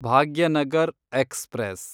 Bhagyanagar express